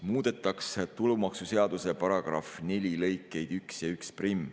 Muudetakse tulumaksuseaduse § 4 lõikeid 1 ja 11.